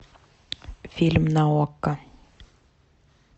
фильм на окко